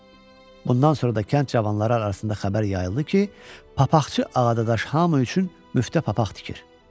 Bundan sonra da kənd cavanları arasında xəbər yayıldı ki, papaqçı Ağadadaş hamı üçün müftə papaq tikir.